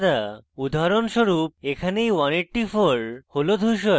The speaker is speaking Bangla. উদাহরণস্বরূপ এখানে এই 184 হল ধূসর